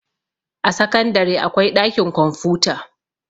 a sakandare akwai ɗakin kwamfuta